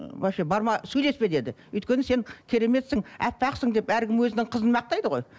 вообще барма сөйлеспе деді өйткені сен кереметсің аппақсың деп әркім өзінің қызын мақтайды ғой